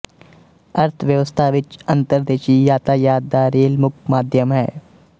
ਅਰਥਵਿਵਸਥਾ ਵਿੱਚ ਅੰਤਰਦੇਸ਼ੀ ਯਾਤਾਯਾਤ ਦਾ ਰੇਲ ਮੁੱਖ ਮਾਧਿਅਮ ਹੈ